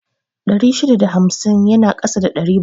Ɗari shida da hamsin yana ƙasa da ɗari bakwai